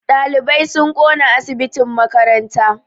Ɗalibai sun ƙona asibitin makaranta